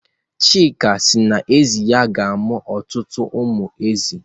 Chika si na ezi ya ga-amụ ọtụtụ ụmụ ezi